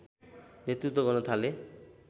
नेतृत्व गर्न थाले